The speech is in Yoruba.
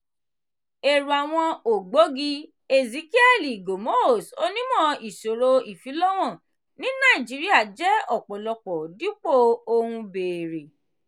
èrò àwọn ògbógi: ezekiẹ́lì gomos onímọ̀ ìṣòro ìfilọ́wọ̀n ní naijiría jẹ́ ọ̀pọ̀lọpọ̀ dípò ohun béèrè.